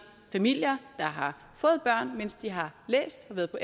familier der har fået børn mens de har læst og været på